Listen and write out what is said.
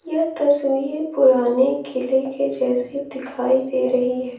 यह तस्वीर पुराने किले के जैसे दिखाई दे रही है।